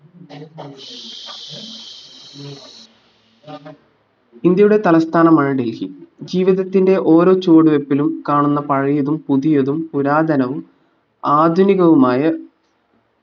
ഇന്ത്യയുടെ തലസ്ഥാനമായ ഡൽഹി ജീവിധത്തിന്റെ ഓരോ ചുവടുവെപ്പിലും കാണുന്ന പഴയതും പുതിയതും പുരാതനവും ആധുനികവുമായ